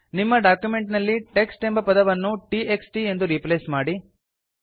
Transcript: ನಿಮ್ಮ ಡಾಕ್ಯುಮೆಂಟ್ ನಲ್ಲಿ ಟೆಕ್ಸ್ಟ್ ಎಂಬ ಪದವನ್ನು t x t ಎಂದು ರೀಪ್ಲೇಸ್ ಮಾಡಿ